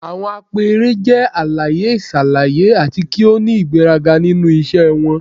Awọn apẹẹrẹ jẹ alaye-iṣalaye ati ki o ni igberaga ninu iṣẹ wọn.